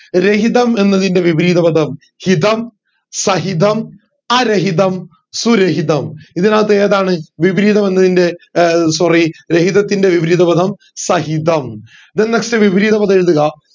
രഹിതം എന്നതിന്റെ വിപരീതപദം ഹിതം സഹിതം അരഹിതം സുരഹിതം ഇതിന്റകത്തു ഏതാണ് വിപരീതമെന്നത്തിന്റെ ഏർ sorry രഹിതത്തിന്റെ വിപരീതപദം സഹിതം then next വിപരീതപദം എഴുതുക